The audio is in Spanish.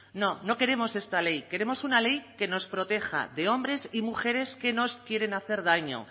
no no queremos esta ley queremos una ley que nos proteja de hombres y mujeres que nos quieren hacer daño